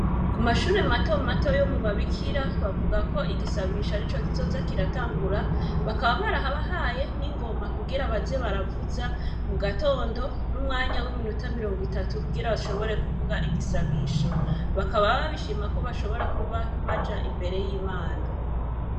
Ku mashure mato mato, yo mu babikira, bavuga ko igisabisho, arico kizoza kiratangura, bakaba barabahaye n’ingoma, kugira baze baravuza, mu gatondo, n’umwanya w’iminota, mirongo itatu, kugira bashobore, kuvuga igisabisho; bakaba babishima, ko bashobora kuba, baja imbere y’Imana.